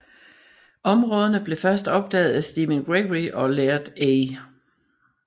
Områderne blev først opdaget af Stephen Gregory og Laird A